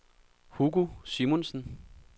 Hugo Simonsen